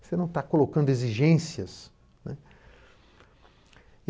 Você não está colocando exigências, né.